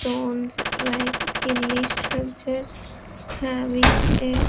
Stones like hilly structures having a --